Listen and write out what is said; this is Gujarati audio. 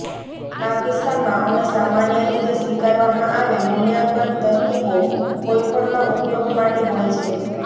આ કિસ્સામાં અમે સામાન્ય રીતે સ્વીકારવામાં આવે મૂલ્યાંકન તરકીબો કોઈપણમાં ઉપયોગ માટે હોય છે